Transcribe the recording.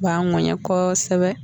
B'a ŋɛɲɛ kosɛbɛ.